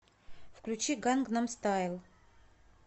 включи гангнам стайл